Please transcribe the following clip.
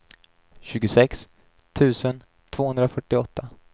tjugosex tusen tvåhundrafyrtioåtta